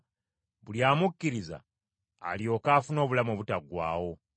buli amukkiriza alyoke afune obulamu obutaggwaawo.